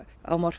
á